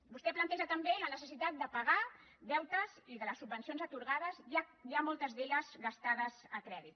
vostè planteja també la necessitat de pagar deutes i les subvencions atorgades ja moltes d’elles gastades a crèdit